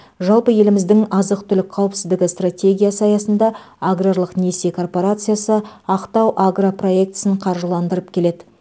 жалпы еліміздің азық түлік қауіпсіздігі стратегиясы аясында арграрлық несие корпорациясы актау агро проектісін қаржыландырып келеді